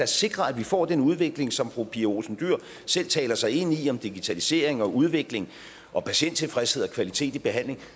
sikrer at vi får den udvikling som fru pia olsen dyhr selv taler sig ind i med digitalisering og udvikling og patienttilfredshed og kvalitet i behandlingen